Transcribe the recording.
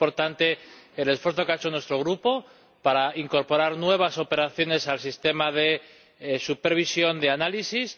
Es importante el esfuerzo que ha hecho nuestro Grupo para incorporar nuevas operaciones al sistema de supervisión de análisis.